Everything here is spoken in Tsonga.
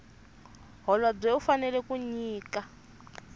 holobye u fanela ku nyika